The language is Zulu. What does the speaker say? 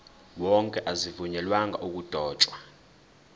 wonke azivunyelwanga ukudotshwa